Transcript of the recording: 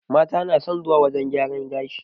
Mata na son zuwa wurin gyaran gashi